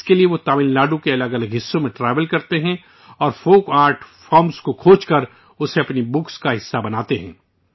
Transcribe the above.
اس کے لیے وہ تمل ناڈو کے الگ الگ حصوں میں ٹریول کرتے ہیں اور فوک آرٹ فارمز کو کھوج کر اسے اپنی کتاب کا حصہ بناتے ہیں